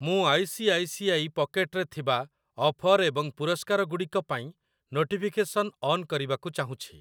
ମୁଁ I C I C I pocket ରେ ଥିବା ଅଫର୍ ଏବଂ ପୁରସ୍କାରଗୁଡ଼ିକ ପାଇଁ ନୋଟିଫିକେସନ୍‌ ଅନ୍ କରିବାକୁ ଚାହୁଁଛି ।